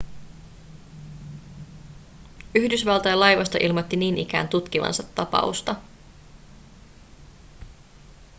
yhdysvaltain laivasto ilmoitti niin ikään tutkivansa tapausta